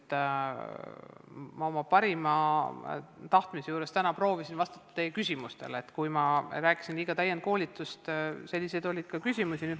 Ma püüdsin täna oma parima tahtmise juures vastata teie küsimustele ja kui ma rääkisin liiga palju täienduskoolitustest, siis sellepärast, et selle kohta oli ka küsimusi.